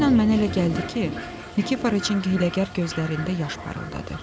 Həmin an mənə elə gəldi ki, Nikiforiş hiyləgər gözlərində yaş parıldatdı.